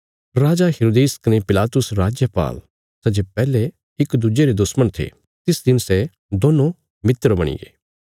राजा हेरोदेस कने पिलातुस राजपाल सै जे पैहले इक दुज्जे रे दुश्मण थे तिस दिन सै दोन्नों मित्र बणिगे